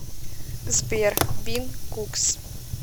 сбер бин кукс